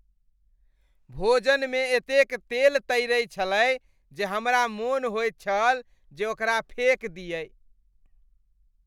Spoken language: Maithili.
भोजन मे एतेक तेल तैरै छलै जे हमरा मोन होइत छल जे ओकरा फेक दियै।